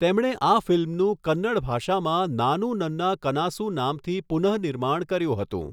તેમણે આ ફિલ્મનું કન્નડ ભાષામાં 'નાનૂ નન્ના કનાસુ' નામથી પુનઃનિર્માણ કર્યું હતું.